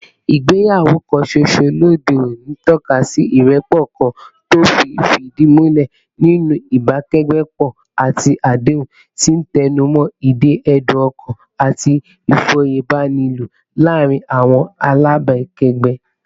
Ìgbéyàwó ẹ̀ẹ̀kan ṣoṣo lóde òní ń tọ́ka sí ìrẹ́pọ̀ kan tí ó fìdí múlẹ̀ nínú ìbákẹ́gbẹ́pọ̀ àti àdéhùn, tí ń tẹnu mọ́ ìdè ẹ̀dùn-ọkàn àti ìfòyebánilò láàárín àwọn alábàákẹ́gbẹ́